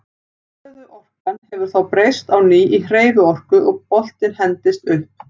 Stöðuorkan hefur þá breyst á ný í hreyfiorku og boltinn hendist upp.